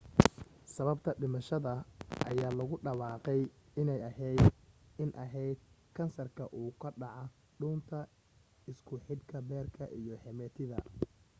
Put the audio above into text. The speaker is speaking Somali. sababta dhimashada ayaa lagu dhawaaqay inay ahayd in ahayd kansarka ku dhaca dhuunta isku xidha beerka iyo xameetida